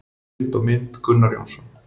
Heimildir og mynd: Gunnar Jónsson.